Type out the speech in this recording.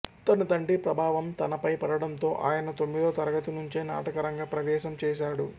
తన తండ్రి ప్రభావం తనపై పడటంతో ఆయన తొమ్మిదో తరగతి నుంచే నాటకరంగ ప్రవేశం చేసాడు